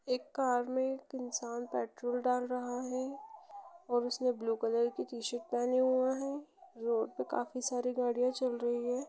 एक कार में एक इंसान पेट्रोल डाल रहा है और उसने ब्लू कलर की टी-शर्ट पहना हुआ है रोड पे काफी साडी गाड़ियां चल रही है।